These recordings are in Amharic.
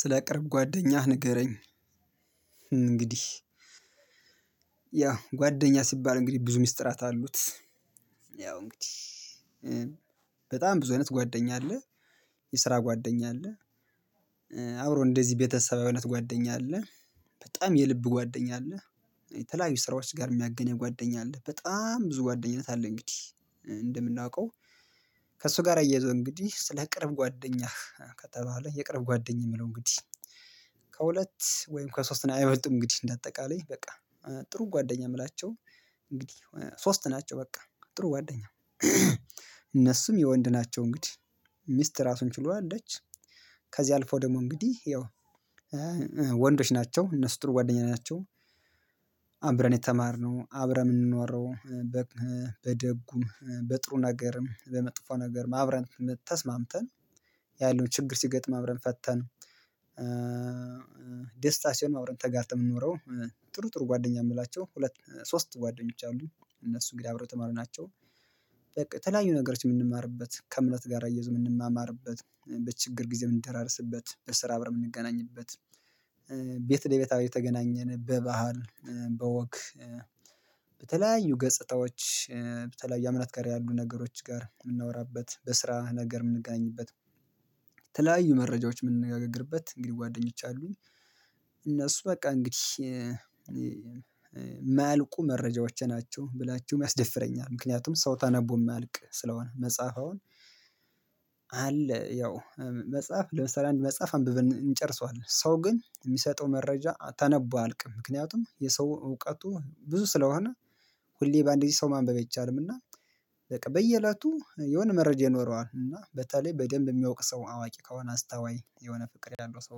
ስለ ቅርብ ጓደኛህ ንገረኝ እንግዲህ ያው ጓደኛ ሲባል እንግዲህ ብዙ ሚስጥራት አሉት ያው እንግዲህ በጣም ብዙ አይነት ጓደኛ አለ የስራ ጓደኛ አለ አብሮ እንደዚህ ቤተሰባዊነት ጓደኛ አለ በጣም የልብ ጓደኛ አለ የተለያዩ ስራዎች ጋር የሚያገናኝ ጓደኛ አለ በጣም ብዙ ጓደኝነት አለ እንግዲህ እንደምናውቀው ከእሱ ጋር አያየዘነው እንግዲህ ስለ ቅርብ ጓደኛህ ከተባለ የቅርብ ጓደኛ የምለው እንግዲህ ከሁለት ወይም ከሶስት አይበልጥም እንግዲህ እንደ አጠቃላይ በቃ ጥሩ ጓደኛ የምላቸው እንግዲህ ሶስት ናቸው በቃ ጥሩ ጓደኛ እነሱም የወንድ ናቸው እንግዲህ ሚስት ራሱን ችሎ አለች ከዚያ አልፈው ደግሞ እንግዲህ ያው ወንዶች ናቸው እነሱ ጥሩ ጓደኛ ናቸው አብረን የተማርነው አብረን የምንኖረው በደጉም በጥሩ ነገርም በመጥፎ ነገርም አብረን ተስማምተን ያለውን ችግር ሲገጥመን አብረን ፈተን ደስታ ሲሆን አብረን ተጋርተን የምንኖረው ጥሩ ጥሩ ጓደኛ የምላቸው ሁለት ሶስት ጓደኞች አሉ እነሱ እንግዲህ አብረው የተማሩ ናቸው በቃ ተለያዩ ነገሮች የምንማርበት ከእምነት ጋር አያይዘው የምንማማርበት በችግር ጊዜ የምንደራረስበት በስራ አብረን የምንገናኝበት ቤት ለቤት እየተገናኘን በባህል በወግ በተለያዩ ገጽታዎች በተለያዩ እምነት ጋር ያሉ ነገሮች ጋር የምናወራበት በስራ ነገር የምንገናኝበት መረጃዎች የምንነጋገርበት እንግዲህ ጓደኞች አሉኝ በቃ እንግዲህ የማያልቁ መረጃዎች ናቸው ብላችሁም ያስደፍረኛል ምክንያቱም ሰው ተነቦ የማያልቅ ስለሆነ መጽሐፈ አሁን አለ ያው መጽሐፍ ለምሳሌ አንድ መጽሐፍ አንብበን እንጨርሰዋለን ሰው ግን የሚሰጠው መረጃ ተነቦ አያልቅም ምክንያቱም የሰው እውቀቱ ብዙ ስለሆነ ሁሌ በአንድ ጊዜ ሰው ማንበብ አይቻላልም እና በቃ በየእለቱ የሆነ መረጃ ይኖረዋል እና በተለይ በደንብ የሚያውቅ ሰው አዋቂ ከሆነ አስታዋይ የሆነ ፍቅር ያለው ሰው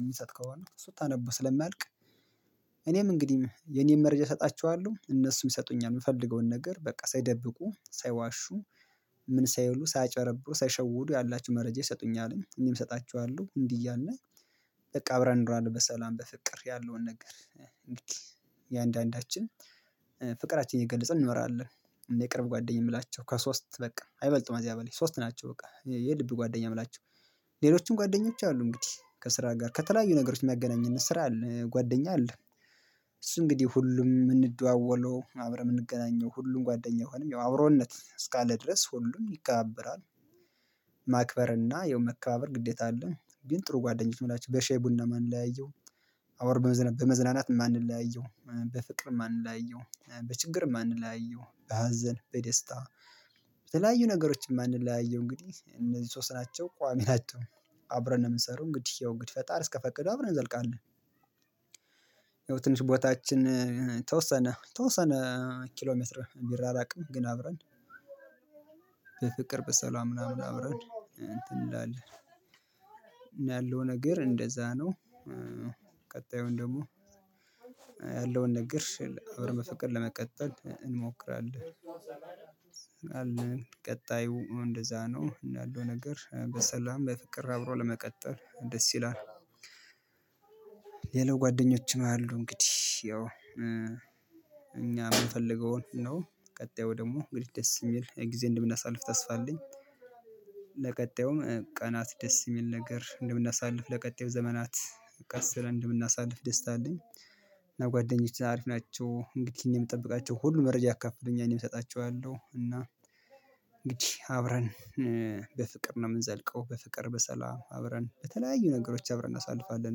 የሚሰጥ ከሆነ ስታነቡ ስለማያልቅ እኔም እንግዲህ የኔን መረጃ እሰጣቸዋለሁ እነሱም ይሰጡኛል የምፈልገውን ነገር በቃ ሳይደብቁ ሳይዋሹ ምን ሳይሉ ሳያጭበረብሩ ሳይሸውዱ ያላቸውን መረጃ ይሰጡኛል እኔም እሰጣቸዋለሁ እንዲህ እያልን በቃ አብረን እንኖራለን በሰላም በፍቅር ያለውን ነገር እንግዲህ እያንዳንዳችን ፍቅራችንን እየገለጽን እንኖራለን የቅርብ ጓደኛ የምላቸው ከሶስት በቃ አይበልጥም ከዚያ በላይ ሶስት ናቸው በቃ የልብ ጓደኛ የምላቸው ሌሎችም ጓደኞች አሉ እንግዲህ ከስራ ጋር ከተለያዩ ነገሮች የሚያገናኝን ስራ አለ ጓደኛ አለ እሱ እንግዲህ ሁሉም የምንደዋወለው አብረን የምንገናኘው ሁሉም ጓደኛ አይሆነም ያው አብሮነት እስካለ ድረስ ሁሉም ይከባበራል ማክበርና የመከባበር ግዴታ አለን ግን ጥሩ ጓደኛዬ የምላችው በሻይ ቡናምን የማንለያየው በመዝናናትም የማንለያየው በፍቅር የማንለያየው በችግር የማንለያየው በሀዘን በደስታ በተለያዩ ነገሮች የማንለያየው እንግዲህ እነዚህ ሶስት ናቸው ቋሚ ናቸው አብረን ነው የምንሰራው እንግዲህ ያው እንግዲህ ፈጣሪ እስከፈቀደው አብረን እንዘልቃለን ያው ትንሽ ቦታችን ተወሰነ የተወሰነ ኪሎ ሜትር ቢራራቅም ግን አብረን በፍቅር በሰላም ምናምን አብረን እንትን እንላለን ያለው ነገር እንደዛ ነው ደግሞ ያለውን ነገር አብረን በፍቅር ለመቀጠል እንሞክራለን አለን ቀጣዩ እንደዛ ነው ያለው ነገር በሰላም በፍቅር አብሮ ለመቀጠል ደስ ይላል ሌላው ጓደኞችም አሉ እንግዲህ ያው እኛ የምንፈልገውን ነው ቀጣዩ ደግሞ እንግዲህ ደስ የሚል ጊዜ እንደምናሳልፍ ተስፋ አለኝ ለቀጣዩም ቀናት ደስ የሚል ነገር እንደምናሳልፍ ለቀጣዩ ዘመናት ቀስ ብለን እንደምናሳልፍ ደስታ አለኝ እና ጓደኞቼ አሪፍ ናቸው እንግዲህ የምጠብቃቸው ሁሉም መረጃ ያካፍሉኛል እኔም እሰጣቸዋለሁ እና እንግዲህ አብረን በፍቅር ነው የምንዘልቀው በፍቅር በሰላም አብረን በተለያዩ ነገሮች አብረን እናሳልፋለን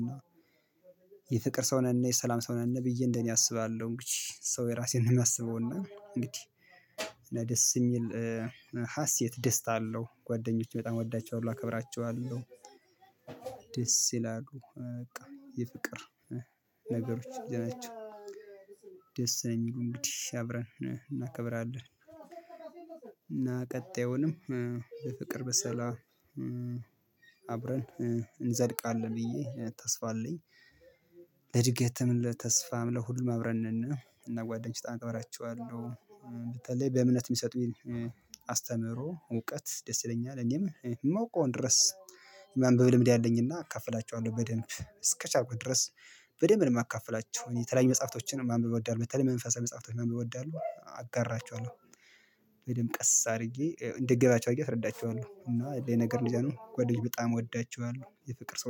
እና የፍቅር ሰው ነን የሰላም ሰው ነን ብዬ እንደኔ አስባለሁ እንግዲህ ሰው የራሱን ነው የሚያስበው እና እንግዲህ ደስ የሚል ሀሴት ደስታ አለው ጓደኞቼ በጣም እወዳቸዋለሁ አከብራቸዋለሁ ደስ ይላሉ። በቃ የፍቅር ነገሮች እያላቸው ደስ ነው እሚሉኝ። እንግዲህ አብረን እናከብራለን። እና ቀጣዩንም በፍቅር በሰላም አብረን እንዘልቃለን ብዬ ተስፋ አለኝ፤ ለእድገትም ለተስፋም ለሁሉም አብረን ነን። እና እና ጓደኞች እከበራቸዋለሁ። በተለይ በእምነት የሚሰጡኝ አስተምሮ እውቀት ደስ ይለኛል። እኔም የማውቀውን ድረስ የማንበብ ልምድ አለኝ፤ እና እካፍላቸዋለሁ በደንብ እስከቻልኩት ድረስ በደንብ ነው የማካፍላቸው። እኔ የተለያዩ መጽሐፍቶችንም ማንበብ እወዳለሁ። በተለይ መንፈሳዊ መጽሐፍቶችንም ማንበብ እወዳለሁ፤ አጋራቸዋለሁ ወይም ቀስ አድርጌ እንዲገባቸው አድርጌ አስረዳቸዋለሁ። እና ያለው ነገር እንደዛ ነው። ጓደኞቼን በጣም እወዳቸዋለሁ። የፍቅር ሰው